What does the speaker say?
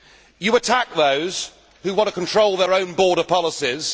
You attack those who want to control their own border policies.